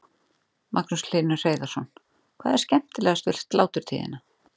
Magnús Hlynur Hreiðarsson: Hvað er skemmtilegast við sláturtíðina?